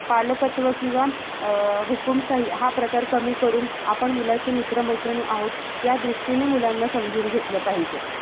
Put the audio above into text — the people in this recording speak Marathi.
पालकत्व किंवा अं हुकूमशाही हा प्रकार कमी करून आपण मुलाचे मित्र-मैत्रिणी आहोत. ह्या दृष्टीने मुलांना समजून घेतलं पाहिजे.